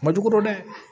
Majugu dɔn dɛ